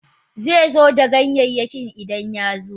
Ze ganyayyakin Idan ya zo.